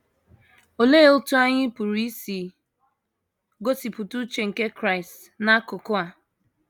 Olee otú anyị pụrụ isi gosipụta uche nke Kraịst n’akụkụ a?